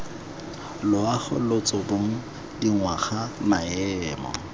loago lotso bong dingwaga maemo